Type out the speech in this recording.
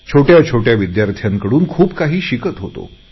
मी या विद्यार्थ्यांकडूनही बरेच काही शिकत होतो